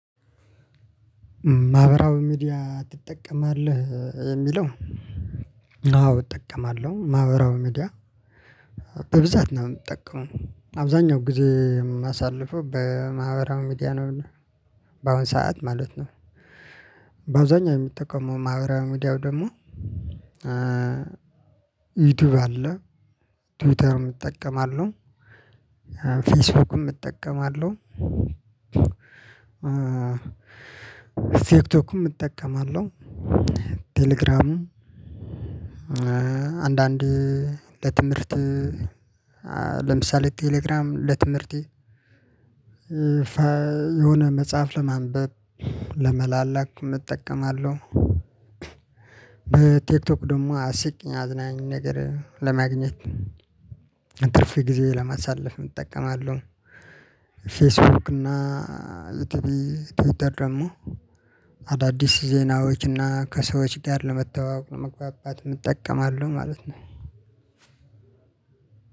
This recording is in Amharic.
ማህበራዊ ሚዲያ ትጠቀማለህ የሚለው? አዎ እጠቀማለሁ ማህበራዊ ሚዲያ በብዛት ነው የምጠቀመው አብዛኛው ጊዜ የማሳልፈው በማህበራው ሚዲያ ነውና። በአሁን ሰዓት ማለት ነው። በአውዛኛው የምጠቀመው ማህበራው ሚዲያው ደግሞ። ዩቲዩብ አለ ትዊተርም እጠቀማለሁ። ፌስቡክም እጠቀማለሁ። ቲክቶክም እጠቀማለሁ። ቴሌግራምም አንዳንዴ ለትምህርት ለምሳሌ ቴሌግራም ለትምህርቴ የሆነ መጽሐፍ ለማንበብ ለመላላክ እጠቀማለሁ። በቲክቶክ ደግሞ አስቂኝ አዝናኝ ነገር ለማግኘት ትርፍ ጊዜ ለማሳለፍ እጠቀማለሁ። ፌስቡክ እና ቲቪ ትዊተር ደግሞ አዳዲስ ዜናዎችና ከሰዎች ጋር ለመተዋወቅ ለመግባባት እንጠቀማለን ማለት ነው።